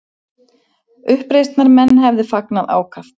Uppreisnarmenn hefðu fagnað ákaft